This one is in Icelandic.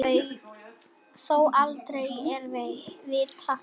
Þó aldrei að vita.